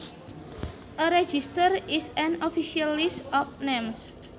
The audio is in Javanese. A register is an official list of names